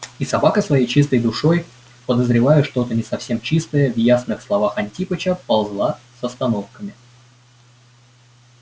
и собака своей чистой душой подозревая что-то не совсем чистое в ясных словах антипыча ползла с остановками